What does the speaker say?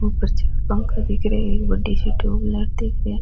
ऊपर छ पंखा दिख रिया है एक बड़ी सी ट्यूबलाइट दिख री है।